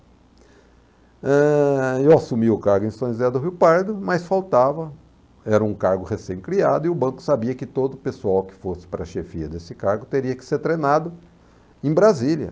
Eh, eu assumi o cargo em São José do Rio Pardo, mas faltava, era um cargo recém-criado, e o banco sabia que todo o pessoal que fosse para a chefia desse cargo teria que ser treinado em Brasília.